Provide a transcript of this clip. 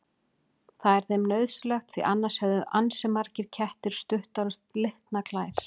Það er þeim nauðsynlegt því annars hefðu ansi margir kettir stuttar og slitnar klær.